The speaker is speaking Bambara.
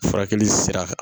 Furakɛli sira